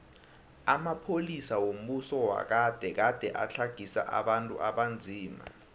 amapolisa wombuso wagade gade atlagisa abantu abanzima